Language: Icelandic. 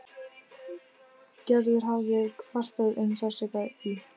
Gerður hafði kvartað um sársauka í.